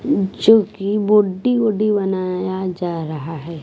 जो कि बॉडी वॉडी बनाया जा रहा है।